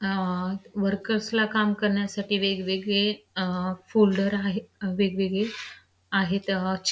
अ workers ला काम करण्यासाठी वेगवेगळे अ फोल्डर आहे वेगवेगळे आहेत.